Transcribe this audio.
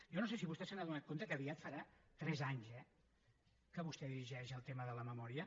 jo no sé si vostè s’ha adonat que aviat farà tres anys eh que vostè dirigeix el tema de la memòria